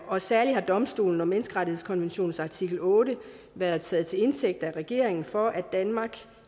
og særlig har domstolen og menneskerettighedskonventionens artikel otte været taget til indtægt af regeringen for at danmark